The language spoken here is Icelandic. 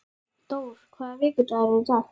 Dór, hvaða vikudagur er í dag?